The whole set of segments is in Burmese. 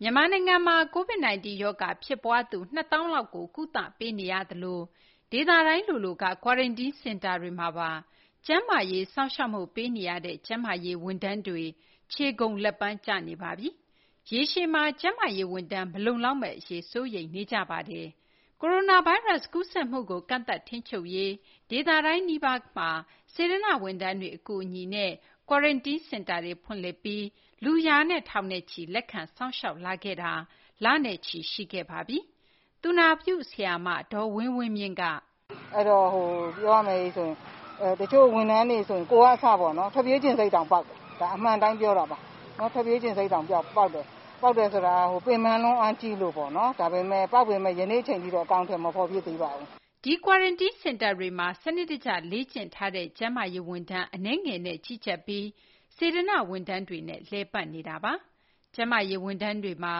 မြန်မာနိုင်ငံမှာ COVID 19 ရောဂါ ဖြစ်ပွားသူ ၂ သောင်းလောက်ကို ကုသပေးနေရသလို ဒေသတိုင်း လိုလိုက quarantine စင်တာတွေမှာပါ ကျန်းမာရေး စောင့်ရှောက်မှု ပေးနေရတဲ့ ကျန်းမာရေး ဝန်ထမ်းတွေ ခြေကုန်လက်ပန်းကျနေပါပြီ။ ရေရှည်မှာ ကျန်းမာရေး ဝန်ထမ်း မလုံလောက်မယ့် အရေးကိုလည်း စိုးရိမ်နေကြပါတယ်။ မသိင်္ဂ ီထိုက် တင်ပြပေးမှာပါ။ မြန်မာနိုင်ငံမှာ ကိုရိုနာဗိုင်းရပ်စ် ကူးစက်မှုကို ကန့်သတ် ထိန်းချုပ်နိုင်ရေး အတွက် ဒေသတိုင်းနီးပါးမှာ စေတနာ့ ဝန်ထမ်းတွေ အကူအညီနဲ့ Quarantine စင်တာတွေ ဖွင့်လှစ်ပြီး လူ ရာနဲ့ ထောင်နဲ့ချီ လက်ခံ စောင့်ရှောက်လာခဲ့တာ လနဲ့ချီ ရှိခဲ့ပါပြီ။ သူနာပြု ဆရာမ ဒေါ်ဝင်းဝင်းမြင့်က “ပြောရမယ်ဆိုရင် တချို့ ဝန်ထမ်းတွေဆိုရင် ကိုယ်က အစပေါ့နော် ထွက်ပြေးချင်စိတ်တောင် ပေါက်တယ်။ ဒါ အမှန်အတိုင်း ပြောတာပါ။ ထွက်ပြေးချင်စိတ် ပေါက်တယ်ဆိုတာ ပင်ပန်းလွန်း အားကြီးလို့ပေါ့နော်။ ပေါက်ပေမယ့် ယနေ့ အချိန်ထိတော့ အကောင်အထည် မဖော်ဖြစ်သေးပါဘူး။” ဒီ Quarantien စင်တာတွေမှာ စနစ်တကျ လေ့ကျင့်ထားတဲ့ ကျန်းမာရေး ဝန်ထမ်း အနည်းငယ်နဲ့ ကြီးကြပ်ပြီး စေတနာ့ ဝန်ထမ်းတွေနဲ့ လည်ပတ်နေတာပါ။ ကျန်မာရေး ဝန်ထမ်းတွေမှာ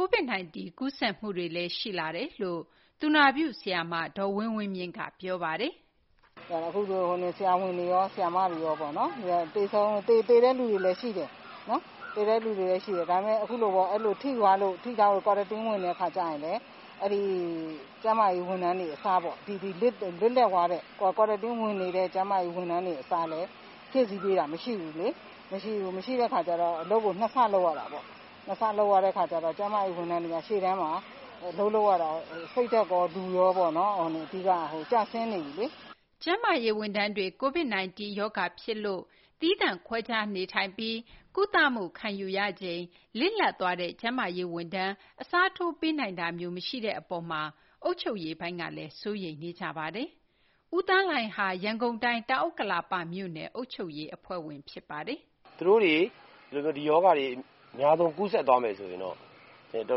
COVID 19 ကူးစက်မှုတွေလည်း ရှိလာတယ်လို့ သူနာပြု ဆရာမ ဒေါ်ဝင်းဝင်းမြင့်က ပြောပါတယ်။ “အခုဆို ဆရာဝန်တွေရော ဆရာမတွေရော သေတဲ့သူတွေလည်း ရှိတယ်။ ဒါပေမယ့် အခုလိုဘဲပေါ့ ထိသွားလို့ Quarantine ဝင်တဲ့ အခါကျရင်လည်း အဲဒီ ကျန်းမာရေး ဝန်ထမ်းတွေ အစားပေါ့။ ဒီ လစ်လပ်သွားတဲ့ Quarantine ဝင်သွားတဲ့ ကျန်းမာရေး ဝန်ထမ်းတွေ အစားလည်း ဖြည့်ဆည်းပေးတာ မရှိဘူးလေ။ မရှိတဲ့ အခါကျတော့ အလုပ်ကို ၂ ဆ လုပ်ရတာပေါ့။ ၂ ဆ လုပ်ရတဲ့ အခါကျတော့ ကျန်းမာရေး ဝန်ထမ်းတွေက ရှေ့တန်းမှာ စိတ်ဓာတ်ရော လူရော ကျဆင်းနေပြီလေ။” ကျန်းမာရေး ဝန်ထမ်းတွေ COVID 19 ရောဂါ ဖြစ်လို့ သီသန့်ခွဲခြားနေထိုင်ပြီး ကုသမှု ခံယူရချိန် လစ်လပ်သွားတဲ့ ကျန်မာရေး ဝန်ထမ်း အစားထိုး ပေးနိုင်တာမျိုး မရှိတဲ့ အပေါ်မှာ အုပ်ချုပ်ရေးပိုင်းကလည်း စိုးရိမ်နေကြပါတယ်။ ဦးသန်းလှိုင်ဟာ ရန်ကုန်တိုင်း တောင်ဥက္ကလာပ မြို့နယ် အုပ်ချုပ်ရေး အဖွဲ့က ဖြစ်ပါတယ်။ “သူတို့တွေ ဒီရောဂါတွေ အများဆုံး ကူးစက်သွားမယ်ဆိုရင်တော့ ကျ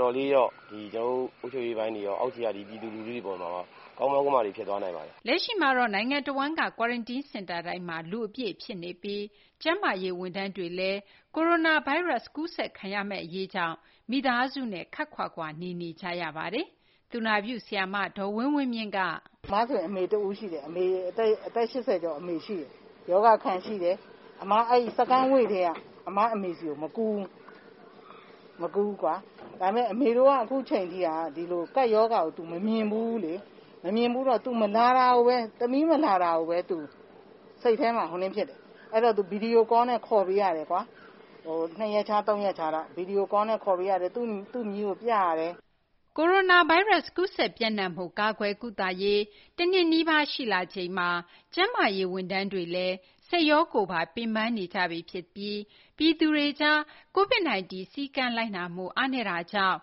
နော်တို့ အုပ်ချုပ်ရေးပိုင်းတွေရော အောက်ခြေက ပြည်သူလူထုတွေ အတွက်ရော ကမောက်ကမတွေ ဖြစ်သွားနိုင်ပါတယ်။ ” လက်ရှိမှာတော့ နိုင်ငံတဝန်းက Quarantine စင်တာတိုင်းမှာ လူအပြည့် ဖြစ်နေပြီး ကျန်းမာရေး ဝန်ထမ်းတွေလည်း ကိုရိုနာဗိုင်းရပ်စ် အရေးကြောင့် မိသားစုနဲ့ ခပ်ခွာခွာ နေနေကြပါတယ်။ သူနာပြု ဆရာမ ဒေါ်ဝင်းဝင်းမြင့်က - “အသက် ၈၀ ကျော် အမေ ရှိတယ်။ ရောဂါ အခံ ရှိတယ်။ Second Wave ကတည်းက အမေ့ဆီကို မကူးဘူး။ အမေတို့က အခုအချိန်ထိ ကပ်ရောဂါကို သူ မမြင်ဖူးဘူးလေ။ မမြင်ဘူးတော့ သမီး မလာတာကိုဘဲ စိတ်ထဲမှာ ဖြစ်တယ်။ အဲဒီတော့ ဗွီဒီယိုကောလ်နဲ့ ခေါ်ပေးရတယ်။ ” ကိုရိုနာဗိုင်းရပ်စ် ကူးစက်ပျံ့နှံ့မှု ကာကွယ် ကုသရေး တနှစ်နီးပါး ရှိလာချိန်မှာ ကျန်းမာရေး ဝန်ထမ်းတွေလည်း စိတ်ရော ကိုယ်ပါ ပင်ပန်းနေကြပြီ ဖြစ်ပြီး ပြည်သူတွေကြား COVID 19 စည်းကမ်း လိုက်နာမှု အားနည်းတာကြောင့်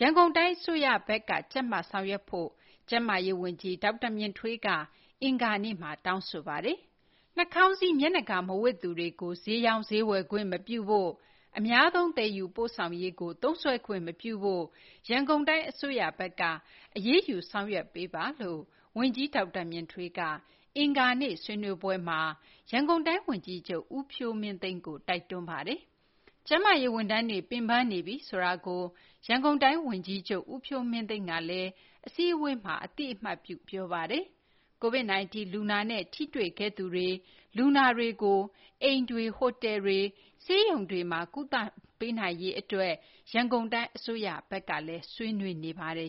ရန်ကုန်တိုင်း အစိုးရဘက်က ကြပ်မတ် ဆောင်ရွက်ဖို့ ကျန်းမာရေး ဝန်ကြီး ဒေါက်တာ မြင့်ထွေးက အင်္ဂါနေ့မှာ တောင်းဆိုပါတယ်။ နှာခေါင်းစည်း မျက်နှာကာ မဝတ်သူများကို ဈေးရောင်းဈေးဝယ် ခွင့်မပြုဖို့၊ အများသုံး သယ်ယူပို့ဆောင်ရေးမှာ သုံးစွဲခွင့် မပြုရေး ရန်ကုန်တိုင်း အစိုးရဘက်က အရေးယူ ဆောင်ရွက်ဖို့ ဝန်ကြီး ဒေါက်တာ မြင့်ထွေးက အင်္ဂါနေ့ ဆွေးနွေးပွဲမှာ ရန်ကုန်တိုင်း ဝန်ကြီးချုပ် ဦးဖြိုးမင်းသိန်းကို တိုက်တွန်းသွားပါတယ်။ ကျန်းမာရေး ဝန်ထမ်းတွေ ပင်ပန်းနေပြီ ဆိုတာကို ရန်ကုန်တိုင်း ဝန်ကြီးချုပ် ဦးဖြိုးမင်းသိန်းကလည်း အစည်းအဝေးမှာ အသိအမှတ်ပြု ပြောပါတယ်။ COVID -19 လူနာတွေနဲ့ ထိတွေ့ခဲ့သူတွေ၊ လူနာတွေကို အိမ်တွေ၊ ဟိုတယ်တွေ၊ ဆေးရုံတွေမှာ ကုသနိုင်ရေး အတွက် ရန်ကုန်တိုင်း အစိုးရက ဆွေးနွေးနေပါတယ်